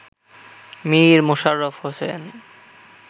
Mir Mosharraf Hossain